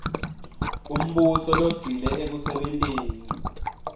umbuso logcile ekusebenteni